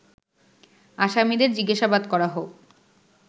আসামিদের জিজ্ঞাসাবাদ করা হোক